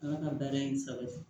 Ala ka baara in sabati